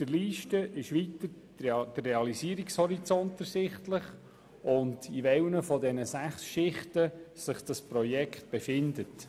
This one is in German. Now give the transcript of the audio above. Aus der Liste ist weiter der Realisierungshorizont ersichtlich und in welchen der sechs Schichten sich das Projekt befindet.